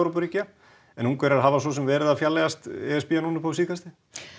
en Ungverjar hafa svo sem verið að fjarlægjast e s b núna upp á síðkastið